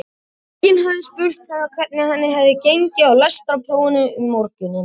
Enginn hafði spurt hana hvernig henni hefði gengið í lestrarprófinu um morguninn.